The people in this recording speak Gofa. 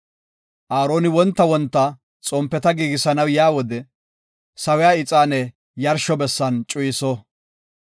“Aaroni wonta wonta xompeta giigisanaw yaa wode, sawiya ixaane yarshiya bessan cuyiso.